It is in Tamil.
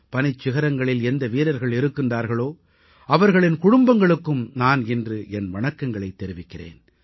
பனிச்சிகரங்களில் எந்த வீரர்கள் இருக்கின்றார்களோ அவர்களின் குடும்பங்களுக்கும் நான் இன்று என் வணக்கங்களைத் தெரிவிக்கிறேன்